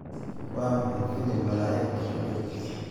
waa maxay filim malaa'igtu ku jirto?